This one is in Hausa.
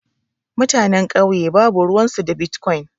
Mutanen kauye babu ruwan su da bitkwon.